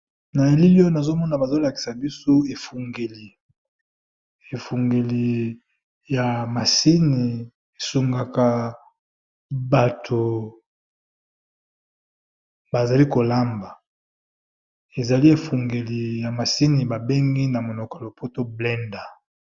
Na elili oyo nazo mona bazo lakisa biso efungeli, efungeli ya masini esungaka bato bazali kolamba ezali efungeli ya masini babengi na monoko ya lopoto blander.